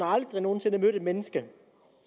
aldrig nogen sinde mødt et menneske